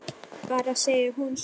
Bara segir hún svo.